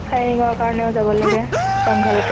firing ৰ কাৰণেও যাব লাগে jungle